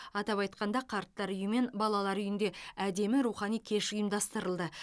атап айтқанда қарттар үйі мен балалар үйінде әдемі рухани кеш ұйымдастырылды